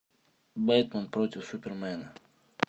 бэтмен против супермена